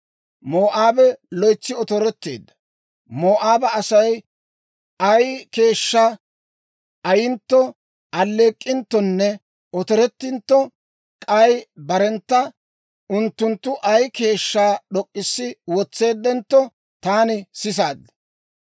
Moo'aabe loytsi otoretteedda; Moo'aaba Asay ay keeshshaa ayyintto, aleek'inttonne otorettintto, k'ay barentta unttunttu ay keeshshaa d'ok'k'issi wotseeddentto, taani sisaad.